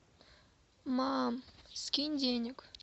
мам скинь денег